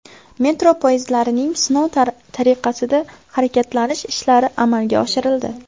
Metro poyezdlarining sinov tariqasida harakatlanish ishlari amalga oshirildi.